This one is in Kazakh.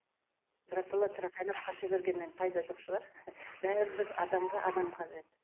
біратала тырақайлап қаша бергеннен пайда жоқ шығар адамға адам қажет